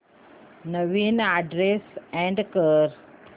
नवीन address add कर